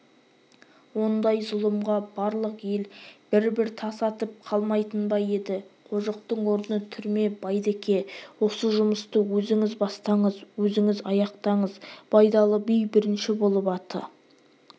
ондай зұлымға барлық ел бір-бір тас атып қалмайтын ба еді қожықтың орны түрме байдеке осы жұмысты өзіңіз бастаңыз өзіңіз аяқтаңыз байдалы би бірінші болып аты